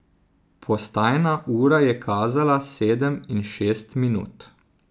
Postajna ura je kazala sedem in šest minut.